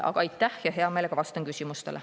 Aga aitäh ja hea meelega vastan küsimustele.